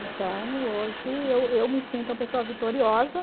Então, hoje, eu eu me sinto uma pessoa vitoriosa.